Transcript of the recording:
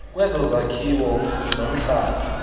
kwezo zakhiwo nomhlaba